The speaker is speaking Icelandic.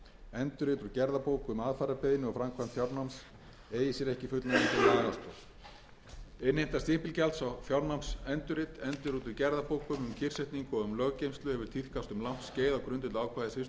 endurrit úr gerðabók um aðfararbeiðni og framkvæmd fjárnáms eigi sér ekki fullnægjandi lagastoð innheimta stimpilgjalds á fjárnámsendurrit endurrit úr gerðabók um kyrrsetningu og um löggeymslu hefur tíðkast um langt skeið á grundvelli ákvæðis fyrstu málsgrein tuttugustu og fjórðu grein laga um stimpilgjald og er